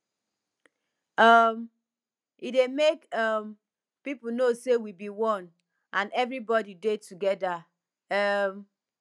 um e dey mek um pipo no say we bi one and evribodi dey togeda um